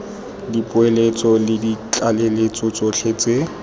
dipoeletso le ditlaleletso tsotlhe tse